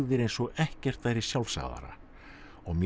eins og ekkert væri sjálfsagðara og mér